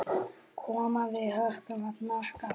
Koma við höku og hnakka.